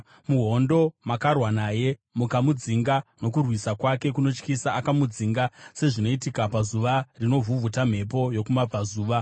Muhondo makarwa naye mukamudzinga, nokurwisa kwake kunotyisa akamudzinga, sezvinoitika pazuva rinovhuvhuta mhepo yokumabvazuva.